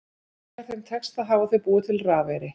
Þegar þeim tekst það hafa þau búið til rafeyri.